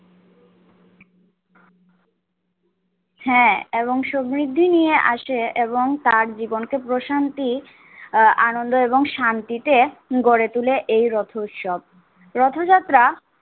হ্যাঁ এবং সমৃদ্ধি নিয়ে আসে এবং তার জীবনকে প্রশান্তি আহ আনন্দ এবং শান্তিতে গড়ে তুলে এই রথ উৎসব। রথযাত্রা